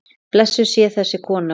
Blessuð sé þessi góða kona.